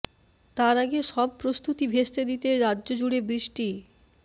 তার আগে সব প্রস্তুতি ভেস্তে দিতে রাজ্য জুড়ে বৃষ্টি